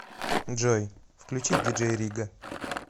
джой включи диджей рига